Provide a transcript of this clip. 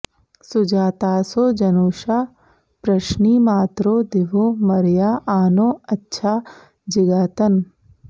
सु॒जा॒तासो॑ ज॒नुषा॒ पृश्नि॑मातरो दि॒वो मर्या॒ आ नो॒ अच्छा॑ जिगातन